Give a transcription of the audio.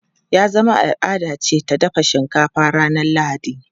Ya zama al’ada ce ta dafa shinkafa ranar Lahadi.